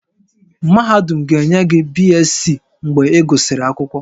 Mahadum ga-enye gị BSc mgbe ị gụsịrị akwụkwọ